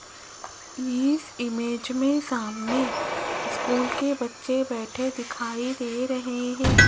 इस इमेज में सामने स्कूल के बच्चे बैठे दिखाई दे रहे हैं।